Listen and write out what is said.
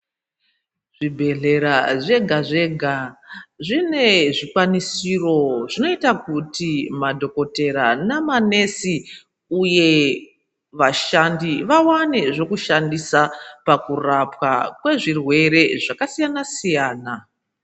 Zvibhehlera zvega zvega zvine zvikwanisiro zvinoita kuti madhokodhera nemanesi uye vashandi vawane zvokushandisa pakurapwa kwezvirwere zvakasiyanasiyana.